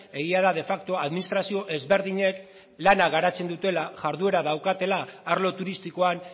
egia da de facto administrazio ezberdinek lana garatzen dutela jarduera daukatela arlo turistikoan